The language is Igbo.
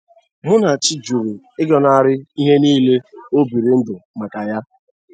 Munachi jụrụ ịgọnarị ihe niile o biri ndụ maka ya.